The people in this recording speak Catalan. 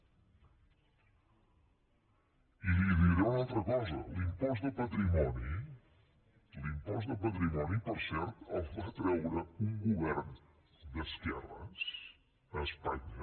i li diré una altra cosa l’impost de patrimoni l’impost de patrimoni per cert el va treure un govern d’esquerres a espanya